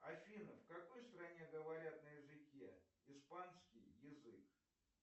афина в какой стране говорят на языке испанский язык